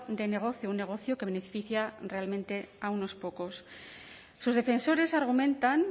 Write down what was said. de negocio un negocio que beneficia realmente a unos pocos sus defensores argumentan